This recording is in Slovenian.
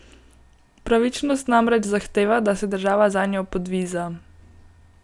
Pravičnost namreč zahteva, da se država zanjo podviza!